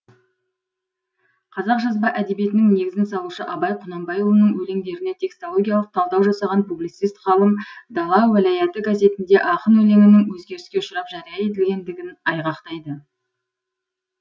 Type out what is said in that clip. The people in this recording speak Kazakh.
қазақ жазба әдебиетінің негізін салушы абай құнанбайұлының өлеңдеріне текстологиялық талдау жасаған публицист ғалым дала уәлаяты газетінде ақын өлеңінің өзгеріске ұшырап жария етілгендігін айғақтайды